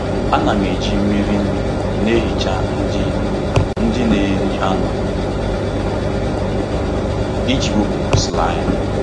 Ana m eji mmiri nnu na-ehicha ndị ndị na-eri anụ iji wepụ slime.